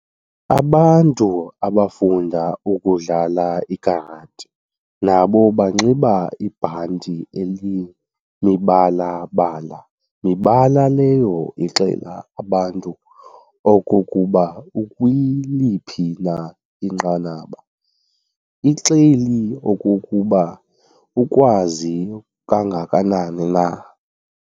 Abantu abafunda ukudlala ikarati nabo banxiba ibhanti elimibala-bala, mibala leyo ixelela abantu okokuba ukwiliphi na inqanaba, ixeli okokuba ukwazi kangakanani na.